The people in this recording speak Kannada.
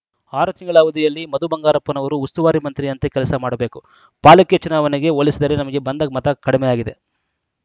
ಆರು ತಿಂಗಳ ಅವಧಿಯಲ್ಲಿ ಮಧು ಬಂಗಾರಪ್ಪನವರು ಉಸ್ತುವಾರಿ ಮಂತ್ರಿಯಂತೆ ಕೆಲಸ ಮಾಡಬೇಕು ಪಾಲಿಕೆ ಚುನಾವಣೆಗೆ ಹೋಲಿಸಿದರೆ ನಮಗೆ ಬಂದ ಮತ ಕಡಿಮೆಯಾಗಿದೆ